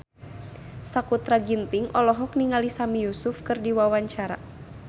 Sakutra Ginting olohok ningali Sami Yusuf keur diwawancara